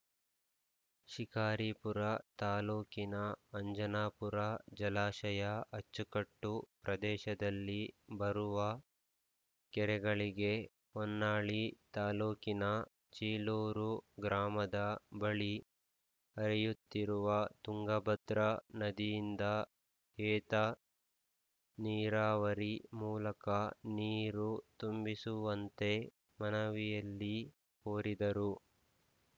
ಶಿಕಾರಿಪುರ ತಾಲೂಕಿನ ಅಂಜನಾಪುರ ಜಲಾಶಯ ಅಚ್ಚುಕಟ್ಟು ಪ್ರದೇಶದಲ್ಲಿ ಬರುವ ಕೆರೆಗಳಿಗೆ ಹೊನ್ನಾಳಿ ತಾಲೂಕಿನ ಚೀಲೂರು ಗ್ರಾಮದ ಬಳಿ ಹರಿಯುತ್ತಿರುವ ತುಂಗ ಭದ್ರ ನದಿಯಿಂದ ಏತ ನೀರಾವರಿ ಮೂಲಕ ನೀರು ತುಂಬಿಸುವಂತೆ ಮನವಿಯಲ್ಲಿ ಕೋರಿದರು